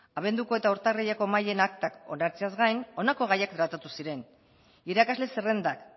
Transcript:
abenduko eta urtarrileko mahaien aktak onartzeaz gain honako gaiak tratatu ziren irakasle zerrendak